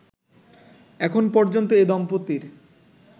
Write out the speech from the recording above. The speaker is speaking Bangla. এখন পর্যন্ত এ দম্পতির